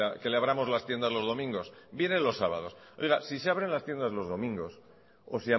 que le abramos las tiendas los domingos vienen los sábados oiga si se abren las tiendas los domingos o